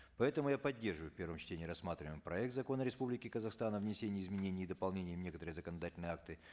поэтому я поддерживаю в первом чтении рассматриваемый проект закона республики казахстан о внесении изменений и дополнений в некоторые законодательные акты